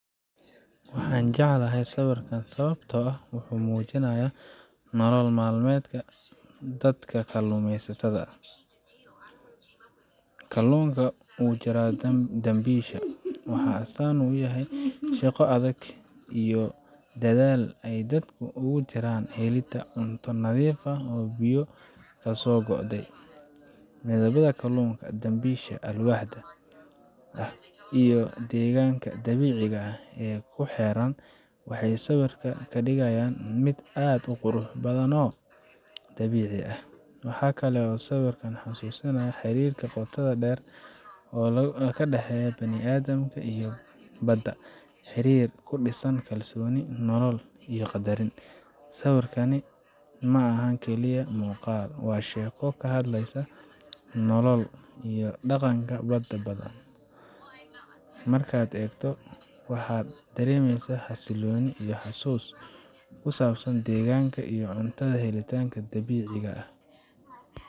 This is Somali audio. Waxaan jeclahay sawirkan sababtoo ah wuxuu muujinayaa nolol maalmeedka dadka kalluumaysatada ah. Kalluunka ku jira dambiisha waxay astaan u yihiin shaqo adag iyo dadaal ay dadku ugu jiraan helidda cunto nadiif ah oo biyo kasoo go'day. Midabada kalluunka, dambiisha alwaaxda ah, iyo deegaanka dabiiciga ah ee ku xeeran waxay sawirka ka dhigayaan mid aad u qurux badan oo dabiici ah. Waxa kale oo sawirkani xasuusinayaa xiriirka qotada dheer ee u dhexeeya bini’aadamka iyo badda xiriir ku dhisan kalsooni, nolol, iyo qaddarin. Sawirkani ma aha oo kaliya muuqaal, waa sheeko ka hadlaysa nolol iyo dhaqanka dad badan. Markaad eegto, waxaad dareemeysaa xasillooni iyo xusuus ku saabsan deegaanka iyo cunto helidda dabiiciga ah.